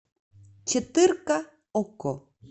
четырка окко